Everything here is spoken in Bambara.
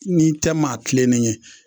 N'i tɛ maa tilenen ye